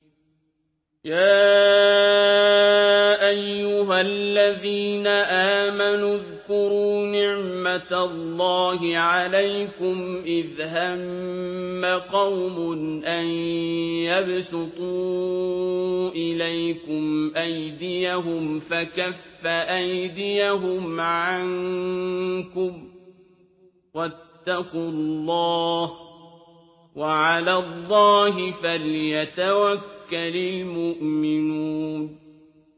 يَا أَيُّهَا الَّذِينَ آمَنُوا اذْكُرُوا نِعْمَتَ اللَّهِ عَلَيْكُمْ إِذْ هَمَّ قَوْمٌ أَن يَبْسُطُوا إِلَيْكُمْ أَيْدِيَهُمْ فَكَفَّ أَيْدِيَهُمْ عَنكُمْ ۖ وَاتَّقُوا اللَّهَ ۚ وَعَلَى اللَّهِ فَلْيَتَوَكَّلِ الْمُؤْمِنُونَ